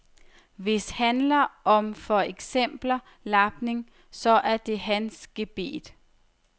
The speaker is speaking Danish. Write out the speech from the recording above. Hvis handler om for eksempler lapning, så er det hans gebet.